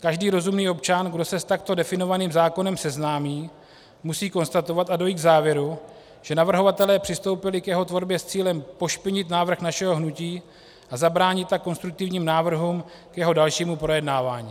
Každý rozumný občan, kdo se s takto definovaným zákonem seznámí, musí konstatovat a dojít k závěru, že navrhovatelé přistoupili k jeho tvorbě s cílem pošpinit návrh našeho hnutí a zabránit tak konstruktivním návrhům k jeho dalšímu projednávání.